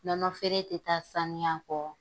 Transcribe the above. Nɔnɔ feere tɛ taa sanuya kɔ.